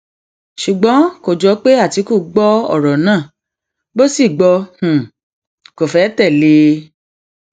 ṣùgbọn kò jọ pé àtìkù gbọ ọrọ náà bó sì gbọ kó fẹẹ tẹlé e